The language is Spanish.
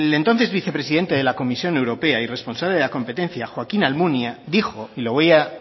el entonces vicepresidente de la comisión europea y responsable de la competencia joaquín almunia dijo y lo voy a